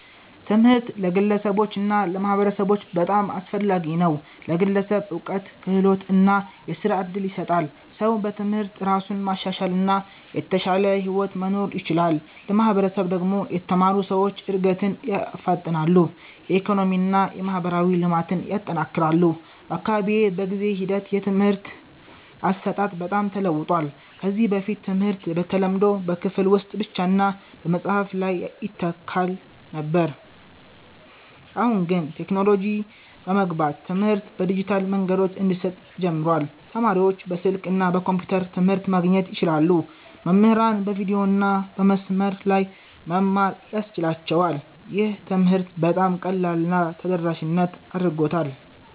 ትምህርት ለግለሰቦች እና ለማህበረሰቦች በጣም አስፈላጊ ነው። ለግለሰብ እውቀት፣ ክህሎት እና የሥራ እድል ይሰጣል። ሰው በትምህርት እራሱን ማሻሻል እና የተሻለ ሕይወት መኖር ይችላል። ለማህበረሰብ ደግሞ የተማሩ ሰዎች እድገትን ያፋጥናሉ፣ የኢኮኖሚ እና የማህበራዊ ልማትን ያጠናክራሉ። በአካባቢዬ በጊዜ ሂደት የትምህርት አሰጣጥ በጣም ተለውጧል። ከዚህ በፊት ትምህርት በተለምዶ በክፍል ውስጥ ብቻ እና በመጽሐፍ ላይ ይተካል ነበር። አሁን ግን ቴክኖሎጂ በመግባት ትምህርት በዲጂታል መንገዶች እንዲሰጥ ጀምሯል። ተማሪዎች በስልክ እና በኮምፒውተር ትምህርት ማግኘት ይችላሉ፣ መምህራንም በቪዲዮ እና በመስመር ላይ መማር ያስችላቸዋል። ይህ ትምህርትን በጣም ቀላል እና ተደራሽ አድርጎታል።